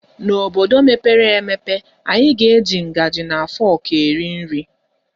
N'obodo mepere emepe anyị ga-eji ngaji na fọk eri nri.